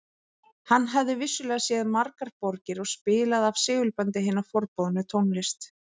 Hann hafði vissulega séð margar borgir og spilaði af segulbandi hina forboðnu tónlist